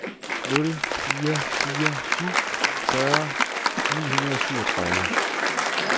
nul fire fire syv fyrre ni hundrede og syvogtredive